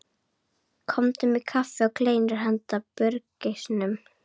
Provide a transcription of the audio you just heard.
Komdu með kaffi og kleinur handa burgeisnum.